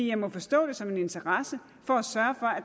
jeg må forstå det som en interesse for